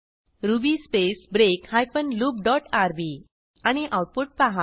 ruby space break hyphen loop dot rb आणि output पहा